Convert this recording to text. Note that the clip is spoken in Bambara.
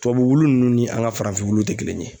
Tubabu ninnu ni an ka farafinw tɛ kelen ye.